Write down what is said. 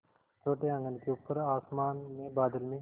छोटे आँगन के ऊपर आसमान में बादल में